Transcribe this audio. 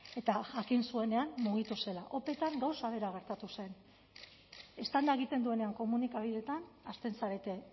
eta jakin zuenean mugitu zela opetan gauza bera gertatu zen eztanda egiten duenean komunikabideetan hasten zarete